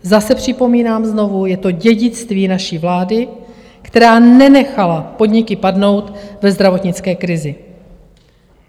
Zase připomínám, znovu, je to dědictví naší vlády, která nenechala podniky padnout ve zdravotnické krizi.